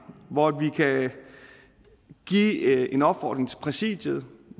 hvor vi kan give en opfordring til præsidiet